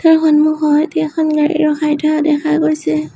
সন্মুখত এখন গাড়ী ৰখাই থোৱা দেখা গৈছে।